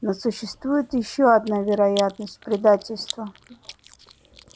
но существует ещё одна вероятность предательство